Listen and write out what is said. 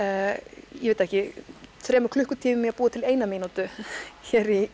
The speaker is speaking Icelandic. ég veit það ekki þremur klukkutímum í að búa til eina mínútu hér í